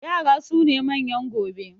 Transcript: Yara su ne manyan gobe